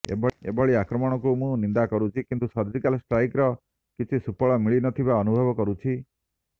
ଏଭଳି ଆକ୍ରମଣକୁ ମୁଁ ନିନ୍ଦା କରୁଛି କିନ୍ତୁ ସର୍ଜିକାଲ ଷ୍ଟ୍ରାଇକ୍ର କିଛି ସୁଫଳ ମିଳିନଥିବା ଅନୁଭବ କରୁଛି